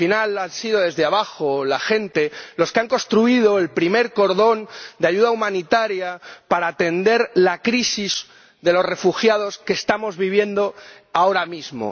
Al final ha sido desde abajo, ha sido la gente, la que ha construido el primer cordón de ayuda humanitaria para atender la crisis de los refugiados que estamos viviendo ahora mismo.